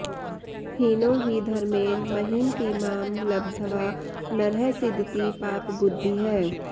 हीनो हि धर्मेण महीमपीमां लब्ध्वा नरः सीदति पापबुद्धिः